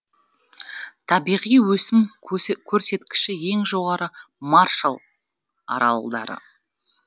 табиғи өсім көрсеткіші ең жоғары маршалл аралдары